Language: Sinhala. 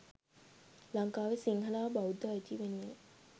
ලංකාවේ සිංහල හා බෞද්ධ අයිතිය වෙනුවෙනි.